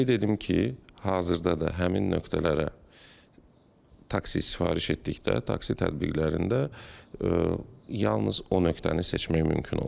Qeyd edim ki, hazırda da həmin nöqtələrə taksi sifariş etdikdə, taksi tətbiqlərində yalnız o nöqtəni seçmək mümkün olur.